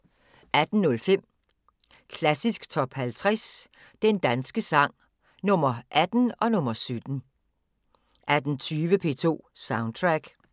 18:05: Klassisk Top 50 Den danske sang – Nr. 18 og nr. 17 18:20: P2 Soundtrack